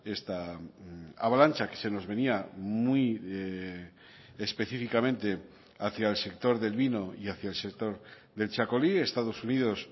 esta avalancha que se nos venía muy específicamente hacia el sector del vino y hacia el sector del txakoli estados unidos